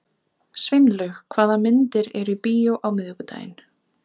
Sveinlaug, hvaða myndir eru í bíó á miðvikudaginn?